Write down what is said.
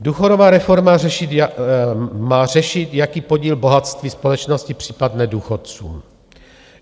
Důchodová reforma má řešit, jaký podíl bohatství společnosti připadne důchodcům.